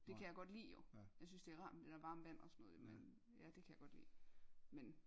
Det kan jeg godt lide jo jeg synes det er rart med det der varme vand og sådan noget jo men det kan jeg godt lide men